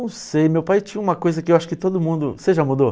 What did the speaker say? Não sei, meu pai tinha uma coisa que eu acho que todo mundo... Você já mudou?